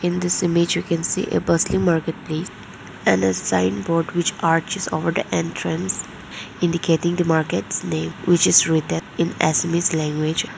in this image we can see a busly market place and as signboard which archies over the entrance indicating the markets name which is written in assamese language.